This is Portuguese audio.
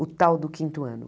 O tal do quinto ano.